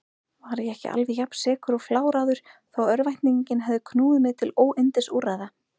Var ég ekki alveg jafnsekur og fláráður þó örvæntingin hefði knúið mig til óyndisúrræða?